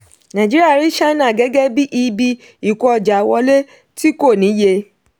nàìjíríà rí china gẹ́gẹ́ bí ibi ìkó ọjà wọlé tí kò níye.